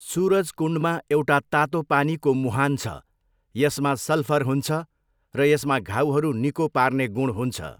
सुरजकुण्डमा एउटा तातो पानीको मुहान छ। यसमा सल्फर हुन्छ र यसमा घाउहरू निको पार्ने गुण हुन्छ।